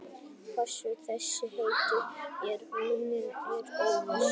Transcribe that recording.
Hvaðan þessi heiti eru runnin er óvíst.